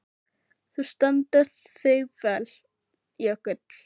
Þú stendur þig vel, Jökull!